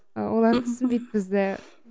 олар түсінбейді бізді